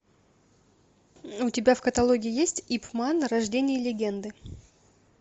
у тебя в каталоге есть ип ман рождение легенды